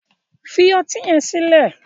fi ọti yen sile.